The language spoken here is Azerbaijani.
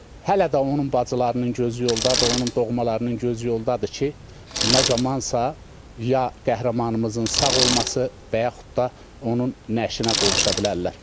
Hələ də onun bacılarının gözü yoldadır, onun doğmalarının gözü yoldadır ki, nə zamansa ya qəhrəmanımızın sağ olması və yaxud da onun nəşinə qovuşa bilərlər.